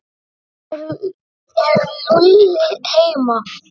Er Lúlli heima?